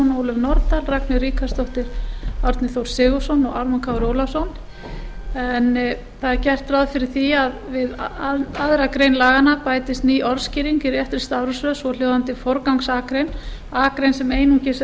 ólöf nordal ragnheiður ríkharðsdóttir árni þór sigurðsson og ármann krónu ólafsson það er gert ráð fyrir því að við aðra grein laganna bætist ný orðskýring í réttri stafrófsröð svohljóðandi með leyfi forseta forgangsakrein akrein sem einungis er